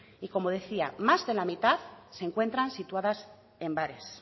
y como decía más de la mitad se encuentran situadas en bares